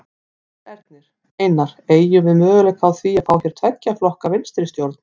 Sigmundur Ernir: Einar, eygjum við möguleika á því að fá hér tveggja flokka vinstristjórn?